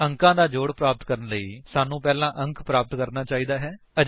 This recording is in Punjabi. ਅੰਕਾਂ ਦਾ ਜੋੜ ਪ੍ਰਾਪਤ ਕਰਨ ਦੇ ਲਈ ਸਾਨੂੰ ਪਹਿਲਾਂ ਅੰਕ ਪ੍ਰਾਪਤ ਕਰਨਾ ਚਾਹੀਦਾ ਹੈ